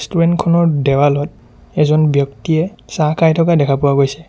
দেৱালত এজন ব্যক্তিয়ে চাহ খাই থকা দেখা পোৱা গৈছে।